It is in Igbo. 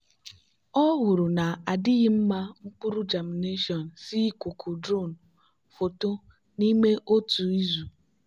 ọ hụrụ na-adịghị mma mkpụrụ germination si ikuku drone foto n'ime otu izu.